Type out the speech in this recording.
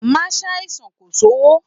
Má ṣàìsàn kò sówó!